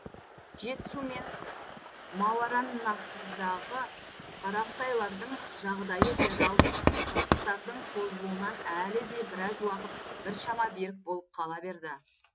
жетісу мен мауараннахрдағы қарақытайлардың жағдайы феодалдық қырқыстардың созылуынан әлі де біраз уақыт біршама берік болып қала берді